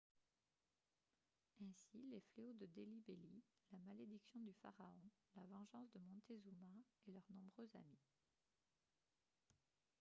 ainsi les fléaux de delhi belly la malédiction du pharaon la vengeance de montezuma et leurs nombreux amis